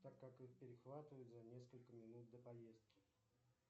так как их перехватывают за несколько минут до поездки